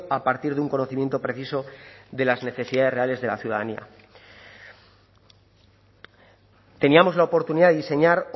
a partir de un conocimiento preciso de las necesidades reales de la ciudadanía teníamos la oportunidad de diseñar